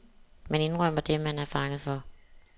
Man indrømmer det, man er fanget for.